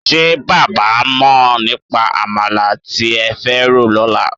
Ṣé bàbá máa mọ̀ nípa àmàlà tí ẹ fẹ́ rò lọ́la?